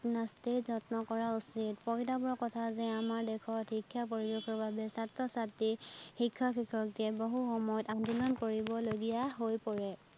যত্ন কৰা উচ্চিত, পৰিতাপৰ কথা যে আমাৰ দেশত শিক্ষা পৰিৱেশৰ বাবে ছাত্ৰ-ছাত্ৰী শিক্ষক- শিক্ষয়তীয়ে বহু সময়ত আন্দোলন কৰিব লগিয়া হৈ পৰে